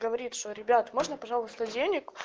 говорит что ребята можно пожалуйста денег